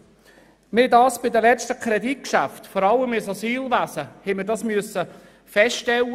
Wir mussten das vor allem bei den letzten Kreditgeschäften für das Asylwesen feststellen.